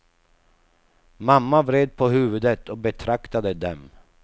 Mamma vred på huvudet och betraktade dem.